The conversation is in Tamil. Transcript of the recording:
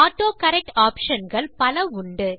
ஆட்டோகரெக்ட் ஆப்ஷன் கள் பல உண்டு